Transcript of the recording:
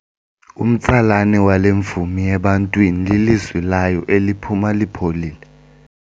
Umtsalane wale mvumi ebantwini lilizwi layo eliphuma lipholile.